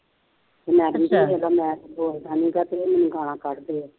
ਅਤੇ ਮੈਂ ਤੈਨੂੰ ਕਿਹਾ ਸੀ ਜਿਦਾਂ ਮੈਂ ਕੁੱਛ ਬੋਲ ਦਿਆਂ ਮੈਂਨੂੰ ਤਾਂ ਕਹਿੰਦੀ ਗਾਲਾਂ ਕੱਢਦੇ ਆ